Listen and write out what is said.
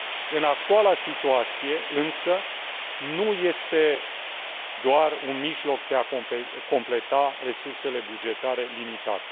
În actuala situație însă nu este doar un mijloc de a completa resursele bugetare limitate.